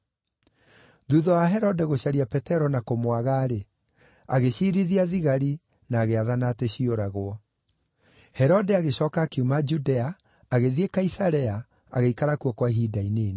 Thuutha wa Herode gũcaria Petero na kũmwaga-rĩ, agĩciirithia thigari, na agĩathana atĩ ciũragwo. Gĩkuũ kĩa Herode Herode agĩcooka akiuma Judea agĩthiĩ Kaisarea, agĩikara kuo kwa ihinda inini.